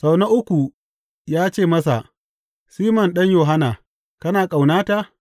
Sau na uku ya ce masa, Siman ɗan Yohanna, kana ƙaunata?